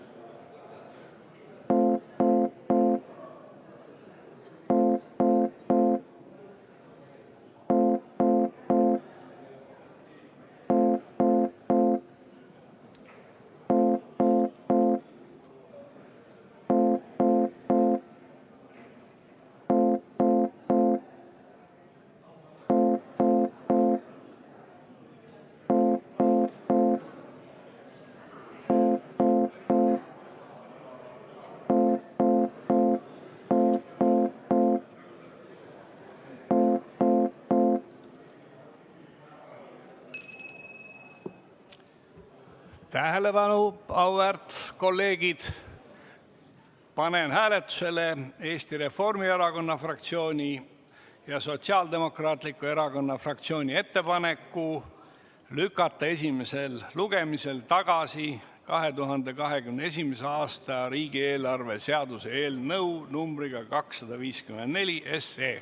Auväärt kolleegid, panen hääletusele Eesti Reformierakonna fraktsiooni ja Sotsiaaldemokraatliku Erakonna fraktsiooni ettepaneku lükata esimesel lugemisel tagasi 2021. aasta riigieelarve seaduse eelnõu numbriga 254.